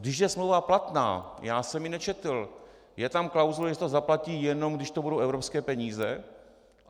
Když je smlouva platná, já jsem ji nečetl, je tam klauzule, že se to zaplatí, jenom když to budou evropské peníze?